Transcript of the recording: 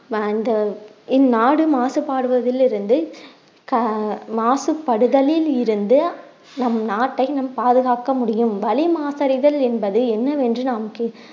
வாழ்ந்த இந்நாடு மாசுபாடுவதில் இருந்து கா~ மாசுபடுதலில் இருந்து நம் நாட்டை நம் பாதுகாக்க முடியும் வளி மாசடைதல் என்பது என்னவென்று நாம்